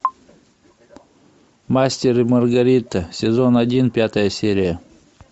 мастер и маргарита сезон один пятая серия